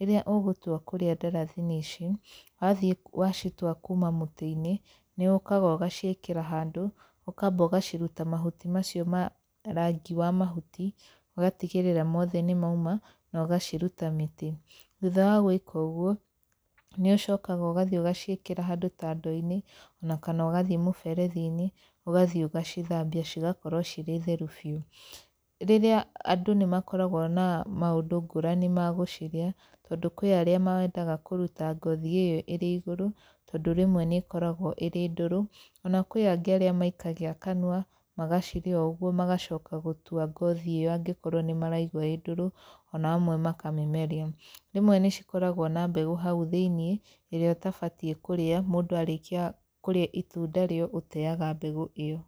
Rĩrĩa ũgũtua kũrĩa ndarathini ici, wathiĩ wacitua kuuma mũtĩ-inĩ, nĩ ũkaga ũgaciĩkĩra handũ, ũkamba ũgaciruta mahuti macio ma rangi wa mahuti, ũgatigĩrĩra mothe nĩ mauma, na ũgaciruta mĩtĩ. Thutha wa gwĩka ũguo, nĩ ũcokaga ũgathi ũgaciĩkĩra handũ ta ndoo-inĩ ona kana ũgathiĩ mũberethi-inĩ, ũgathiĩ ũgacithambia cigakorwo cirĩ theru biũ. Rĩrĩa andũ nĩ makoragwo na maũndũ ngũrani ma gũcirĩa, tondũ kwĩ arĩa mendaga kũruta ngothi ĩyo ĩrĩ igũrũ, tondũ rĩmwe nĩ ĩkoragwo ĩrĩ ndũrũ, ona kwĩ angĩ arĩa maikagia kanua magacirĩa o ũguo magacoka gũtua ngothi ĩyo angĩkorwo nĩ maraigua ĩĩ ndũrũ ona amwe makamĩmeria. Rĩmwe nĩ cikoragwo na mbegũ hau thĩiniĩ ĩrĩa ũtabatiĩ kũrĩa, mũndũ arĩkĩa kũrĩa itunda rĩo ũteaga mbegũ ĩyo.